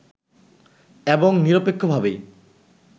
এবং নিরপেক্ষভাবেই